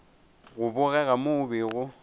go bogega mo o bego